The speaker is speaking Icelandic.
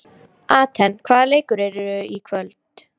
Atena, hvaða leikir eru í kvöld?